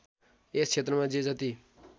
यस क्षेत्रमा जे जति